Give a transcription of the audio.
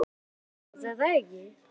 Þú ert að grínast er það ekki?